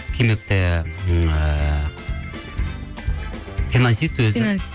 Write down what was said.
кимэп те ыыы финансист өзі